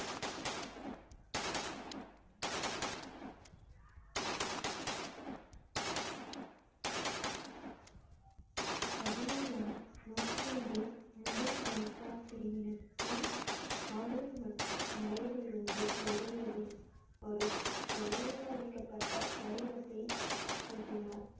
பதினேழாம் நூற்றாண்டின் பிரிவினருக்கும் காடுகள் மற்றும் மலையில் இருந்து வெளியேறி ஒரு ஒருங்கமைக்கப்பட்ட வடிவத்தை கூட்டினார்